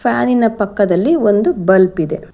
ಫ್ಯಾನಿನ ಪಕ್ಕದಲ್ಲಿ ಒಂದು ಬಲ್ಬ್ ಇದೆ.